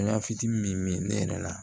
La fitini min mi ne yɛrɛ la